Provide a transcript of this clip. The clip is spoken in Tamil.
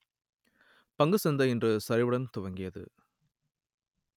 பங்குச்சந்தை இன்று சரிவுடன் துவங்கியது